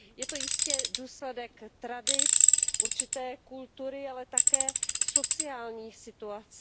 Je to jistě důsledek tradic, určité kultury, ale také sociální situace.